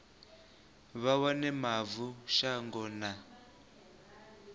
vha wane mavu shango na